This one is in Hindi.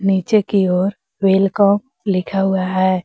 नीचे की ओर वेलकम लिखा हुआ है।